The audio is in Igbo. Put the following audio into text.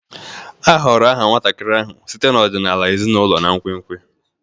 A họọrọ aha nwatakịrị ahụ site n'ọdịnala ezinụlọ na nkwenkwe.